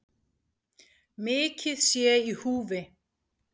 Mikið sé í húfi